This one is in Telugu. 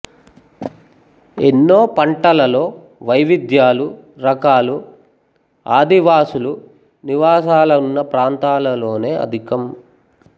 ఎన్నో పంటలలో వైవిధ్యాలు రకాలు ఆదివాసులు నివాసాలున్న ప్రాంతాలలోనే అధికం